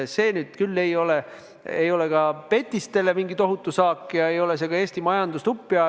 Ja see nüüd küll ei ole ka petistele mingi tohutu saak ega aja see ka Eesti majandust uppi.